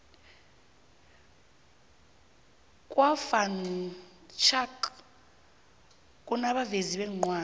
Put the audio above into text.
kwa van schaick kunabovezi beencwadi